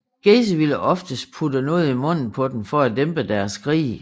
Gacy ville oftest putte noget i munden på dem for at dæmpe deres skrig